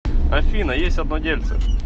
афина есть одно дельце